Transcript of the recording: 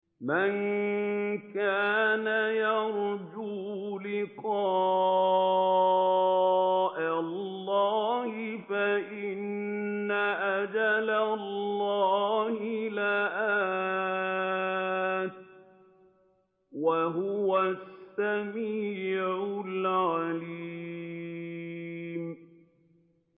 مَن كَانَ يَرْجُو لِقَاءَ اللَّهِ فَإِنَّ أَجَلَ اللَّهِ لَآتٍ ۚ وَهُوَ السَّمِيعُ الْعَلِيمُ